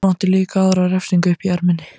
Hann átti líka aðra refsingu uppi í erminni.